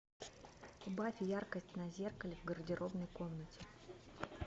убавь яркость на зеркале в гардеробной комнате